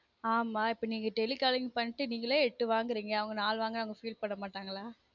ஆமா இப்ப நீங்க telecalling பண்ணிட்டு நீங்கலே எட்டு வாங்குறீங்க அவங்க நாலு வாங்க்குனா feel பண்ண மாட்டாங்களா